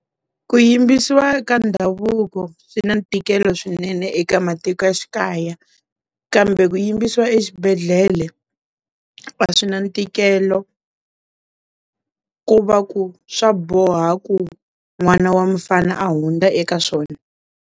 Ku yimbisiwa eka ndhavuko swi na ntikelo swinene eka matikoxikaya kambe ku yimbisiwa exibedhlele a swi na ntikelo ku va ku swa boha ku n'wana wa mfana hundza eka swona.